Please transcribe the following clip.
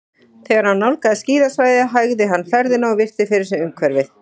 Þegar hann nálgaðist skíðasvæðið hægði hann ferðina og virti fyrir sér umhverfið.